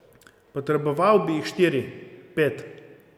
Potreboval bi jih štiri, pet.